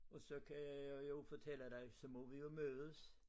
Og så kan jeg jo fortælle dig så må vi jo mødes